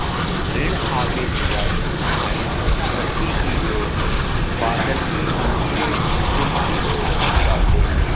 ॠण आवेश वाले आयन धरती की ओर बादल के निचले हिस्से की ओर जाते हैं